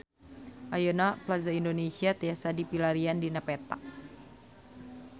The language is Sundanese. Ayeuna Plaza Indonesia tiasa dipilarian dina peta